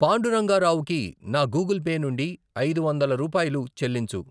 పాండురంగా రావుకి నా Google Pay నుండి ఐదు వందల రూపాయలు చెల్లించు.